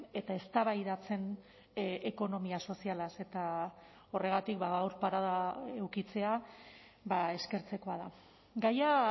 eta eztabaidatzen ekonomia sozialaz eta horregatik gaur parada edukitzea eskertzekoa da gaia